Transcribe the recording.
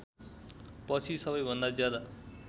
पछि सबैभन्दा ज्यादा